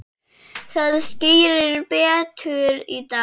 Það skýrist betur í dag.